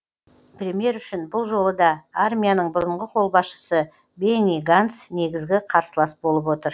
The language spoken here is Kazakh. премьер үшін бұл жолы да армияның бұрынғы қолбасшысы бенни ганц негізгі қарсылас болып отыр